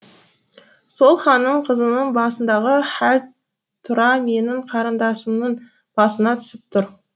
сол ханның қызының басындағы хәл тура менің қарындасымның басына түсіп тұр